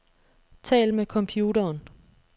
Tal med computeren.